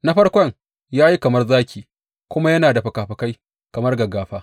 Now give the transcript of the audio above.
Na farkon ya yi kamar zaki kuma yana da fikafikai kamar gaggafa.